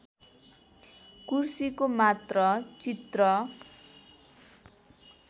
कुर्सीको मात्र चित्र